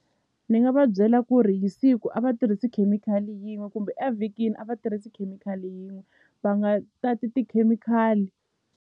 Ni nga va byela ku ri hi siku a va tirhisi khemikhali yin'we kumbe evhikini a va tirhisi khemikhali yin'we va nga tati tikhemikhali.